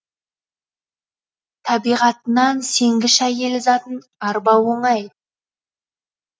табиғатынан сенгіш әйел затын арбау оңай